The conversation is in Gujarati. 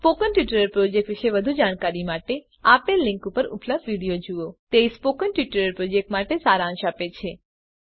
સ્પોકન ટ્યુટોરીયલ પ્રોજેક્ટ વિશે વધુ જાણકારી માટે આપેલ લીંક પર ઉપલબ્ધ વિડીયો જુઓ httpspoken tutorialorgWhat is a Spoken Tutorial તે સ્પોકન ટ્યુટોરીયલ પ્રોજેક્ટનો સારાંશ આપે છે